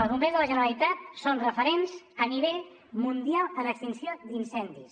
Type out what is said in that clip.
els bombers de la generalitat són referents a nivell mundial en extinció d’incendis